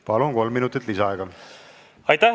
Palun, kolm minutit lisaaega!